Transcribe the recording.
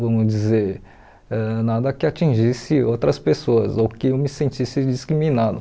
vamos dizer, ãh nada que atingisse outras pessoas ou que eu me sentisse discriminado.